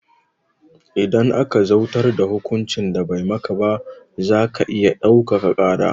Idan aka zautar da hukuncin da bai maka ba zaka iya ɗaukaka ƙara